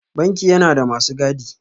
Banki yana da masu gadi.